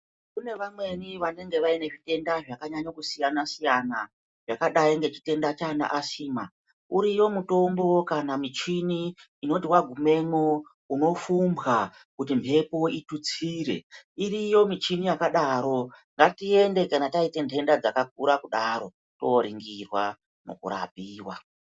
Kune amweni vanenge vaine zvitenda zvaka nyanyo siyana siyana ,yakadai kunge chitenda che asima uriyo mutombo kana muchini inoti wagumemo uno pfumbwa kuti mhepo itutsire, iriyo michini yakadaro ngatiende kana taita ndenda dzakakura kudaro toringirwa pakurapiwa .